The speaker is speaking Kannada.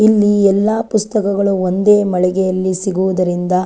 ಇಲ್ಲಿ ಎಲ್ಲ ಪುಸ್ತಕಗಳು ಒಂದೇ ಮಳಿಗೆಯಲ್ಲಿ ಸಿಗುವುದರಿಂದ.